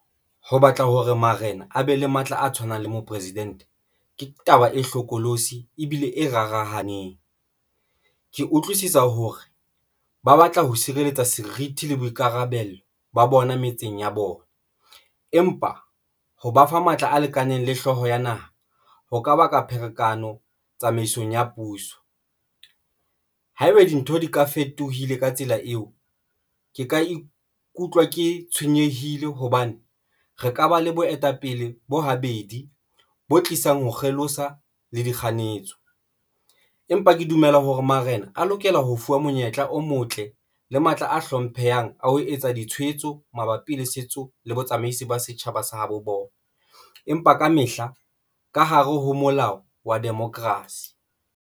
Ho batla hore marena a be le matla a tshwanang le mopresidente, ke taba e hlokolosi ebile e rarahaneng. Ke utlwisisa hore ba batla ho sireletsa serithi le boikarabelo ba bona metseng ya bona. Empa ho ba fa matla a lekaneng le hlooho ya naha ho ka baka pherekano tsamaisong ya puso. Haeba dintho di ka fetohile ka tsela eo, ke ka ikutlwa ke tshwenyehile hobane re ka ba le boetapele bo habedi bo tlisang ho kgelosa le di kganyetso, empa ke dumela hore marena a lokela ho fuwa monyetla o motle le matla a hlomphehang a ho etsa ditshwaetso mabapi le setso le botsamaisi ba setjhaba sa habo bona. Empa kamehla ka hare ho molao wa Democracy.